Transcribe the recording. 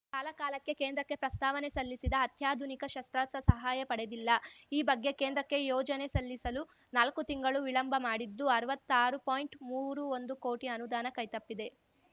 ಕಾಲಕಾಲಕ್ಕೆ ಕೇಂದ್ರಕ್ಕೆ ಪ್ರಸ್ತಾವನೆ ಸಲ್ಲಿಸಿದ ಅತ್ಯಾಧುನಿಕ ಶಸ್ತ್ರಾಸ್ತ್ರ ಸಹಾಯ ಪಡೆದಿಲ್ಲ ಈ ಬಗ್ಗೆ ಕೇಂದ್ರಕ್ಕೆ ಯೋಜನೆ ಸಲ್ಲಿಸಲು ನಾಲ್ಕು ತಿಂಗಳು ವಿಳಂಬ ಮಾಡಿದ್ದು ಅರ್ವತ್ತಾರು ಪಾಯಿಂಟ್ಮೂರು ಒಂದು ಕೋಟಿ ಅನುದಾನ ಕೈತಪ್ಪಿದೆ